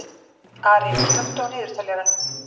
Ari, slökktu á niðurteljaranum.